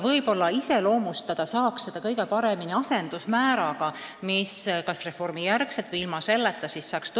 Kõige paremini saab seda ehk illustreerida asendusmääradega, mis pärast reformi kehtestataks.